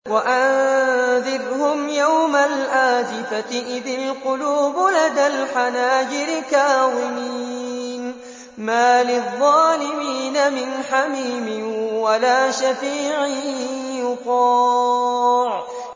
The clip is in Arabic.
وَأَنذِرْهُمْ يَوْمَ الْآزِفَةِ إِذِ الْقُلُوبُ لَدَى الْحَنَاجِرِ كَاظِمِينَ ۚ مَا لِلظَّالِمِينَ مِنْ حَمِيمٍ وَلَا شَفِيعٍ يُطَاعُ